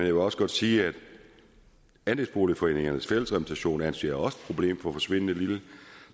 vil også godt sige at andelsboligforeningernes fællesrepræsentation også anser problemet for forsvindende lille